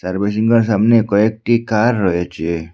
তার বিল্ডিং য়ার সামনে কয়েকটি কার রয়েছে।